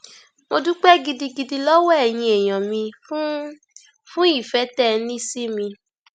mo dúpẹ gidigidi lọwọ ẹyin èèyàn mi fún fún ìfẹ tẹ ẹ ní sí mi